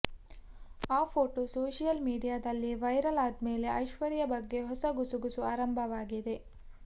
ಆ photo social ಮೀಡಿಯಾದಲ್ಲಿ viral ಆದ್ಮೇಲೆ ಐಶ್ವರ್ಯ ಬಗ್ಗೆ ಹೊಸ ಗುಸುಗುಸು ಆರಂಭವಾಗಿದೆ